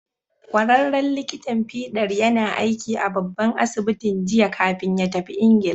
Ƙwararren likitan fiɗar yana aiki a babban asibitin jiya kafin ya tafi Ingila.